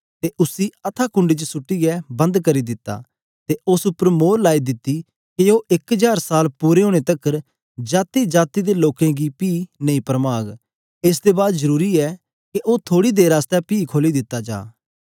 ते उसी अथाह कुंड च सुटीयें बंद करी दित्ता ते उस्स उपर मोर लाई दिती के ओ इक जार साल पूरे ओनें तकर जातीजाती दे लोकें गी पी नेई परमाग एस दे बाद जरुरी ऐ के ओ थोड़ी देर आसतै पी खोली दित्ता जा